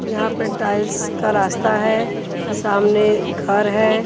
यहां पे टाइल्स का रास्ता है सामने घर है।